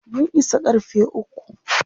mun Isa karfe ukwu